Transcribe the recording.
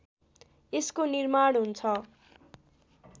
यसको निर्माण हुन्छ